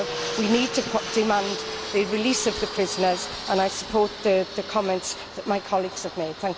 We need to demand the release of the prisoners, and I support the comments that my colleagues have made.